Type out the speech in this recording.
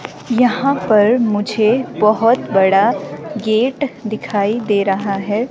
यहाँ पर मुझे बहुत बड़ा गेट दिखाई दे रहा है।